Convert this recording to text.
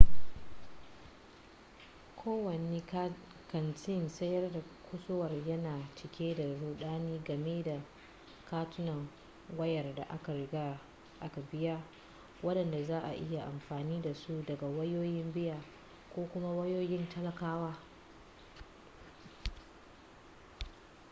kowane kantin sayar da kusurwa yana cike da rudani game da katunan wayar da aka riga aka biya wadanda za'a iya amfani dasu daga wayoyin biya ko kuma wayoyin talakawa